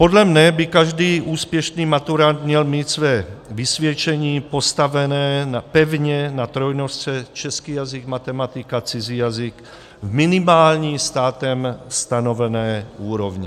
Podle mne by každý úspěšný maturant měl mít své vysvědčení postavené pevně na trojnožce český jazyk - matematika - cizí jazyk v minimální státem stanovené úrovni.